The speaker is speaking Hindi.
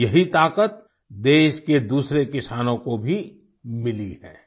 अब यही ताकत देश के दूसरे किसानों को भी मिली है